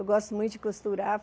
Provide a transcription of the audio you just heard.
Eu gosto muito de costurar.